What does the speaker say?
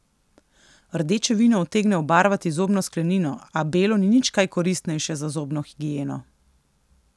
Rdeče vino utegne obarvati zobno sklenino, a belo ni nič kaj koristnejše za zobno higieno.